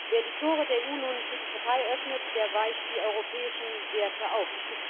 Wer die Tore der EU nun für die Türkei öffnet, der weicht die europäischen Werte auf.